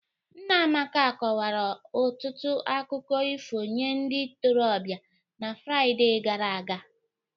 Nna Amaka kọwara ọtụtụ akụkọ ifo nye ndị ntorobịa na Fraịde gara aga